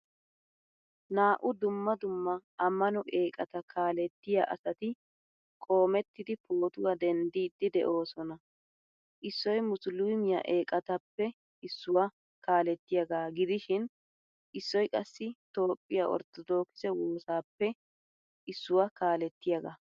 Naa'u dumma dumma amano eqqata kaalettiyaa asati qoomettidi pootuwaa denddidi deosona. Issoy musulumiyaa eqqttappe issuwaa kaalettiyaga gidishin issoy qassi toophphiyaa orttodokise woosaappe issuwaa kaalettiyaga.